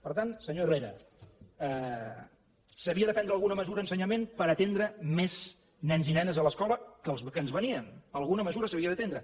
per tant senyor herrera s’havia de prendre alguna mesura a ensenyament per atendre més nens i nenes a l’escola que ens venien alguna mesura s’havia d’atendre